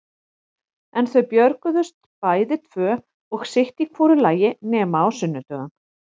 En þau björguðust bæði tvö og sitt í hvoru lagi nema á sunnudögum.